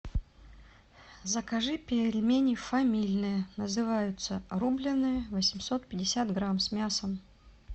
закажи пельмени фамильные называются рубленные восемьсот пятьдесят грамм с мясом